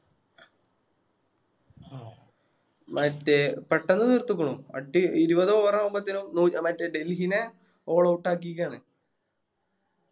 മറ്റേ പെട്ടന്ന് തീർത്തിക്കുണു അടി ഇരുപത് Over ആവുമ്പത്തെനും മറ്റേ ഡെൽഹിനെ All out ആക്കിക്കണ്